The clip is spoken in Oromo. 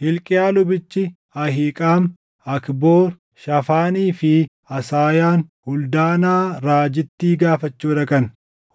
Hilqiyaa lubichi, Ahiiqaam, Akboor, Shaafaanii fi Asaayaan Huldaanaa raajittii gaafachuu dhaqan.